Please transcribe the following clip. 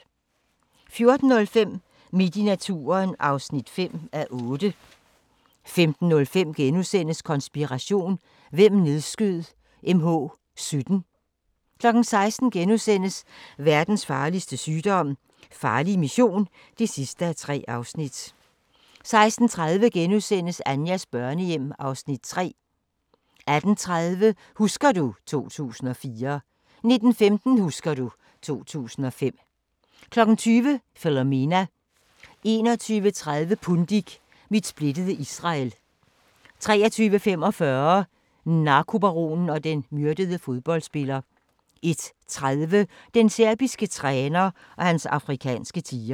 14:05: Midt i naturen (5:8) 15:05: Konspiration: Hvem nedskød MH-17? * 16:00: Verdens farligste sygdom - farlig mission (3:3)* 16:30: Anjas børnehjem (Afs. 3)* 18:30: Husker du ... 2004 19:15: Husker du ... 2005 20:00: Philomena 21:30: Pundik – Mit splittede Israel 23:45: Narkobaronen og den myrdede fodboldspiller 01:30: Den serbiske træner og hans afrikanske tigre